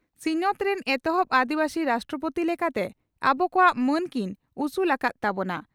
ᱥᱤᱧᱚᱛ ᱨᱤᱱ ᱮᱛᱦᱚᱵ ᱟᱹᱫᱤᱵᱟᱹᱥᱤ ᱨᱟᱥᱴᱨᱚᱯᱳᱛᱤ ᱞᱮᱠᱟᱛᱮ ᱟᱵᱚ ᱠᱚᱣᱟᱜ ᱢᱟᱹᱱ ᱠᱤᱱ ᱩᱥᱩᱞ ᱟᱠᱟᱫ ᱛᱟᱵᱚᱱᱟ ᱾